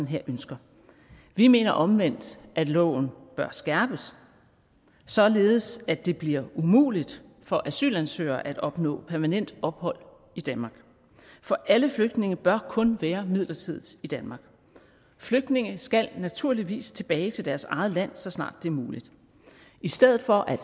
her ønsker vi mener omvendt at loven bør skærpes således at det bliver umuligt for asylansøgere at opnå permanent ophold i danmark for alle flygtninge bør kun være midlertidigt i danmark flygtninge skal naturligvis tilbage til deres eget land så snart det er muligt i stedet for at